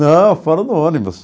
Não, fora do ônibus.